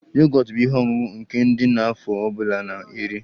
Yogọt bụ ihe ọṅụṅụ nke ndị nọ n'afọ ọ bụla na-eri